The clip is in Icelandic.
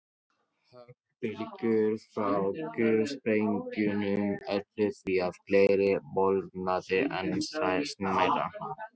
Höggbylgjur frá gufusprengingum ollu því að glerið molnaði enn smærra.